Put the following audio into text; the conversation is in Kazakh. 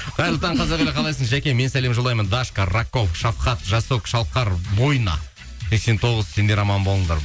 қайырлы таң қазақ елі қалайсың жәке мен сәлем жолдаймын дашка рако шафхат жасок шалқар бойна сексен тоғыз сендер аман болыңдар